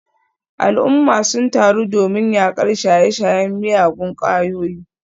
Al’umma sun taru domin yakar shaye-shayen miyagun kwayoyi.